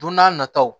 Don n'a nataw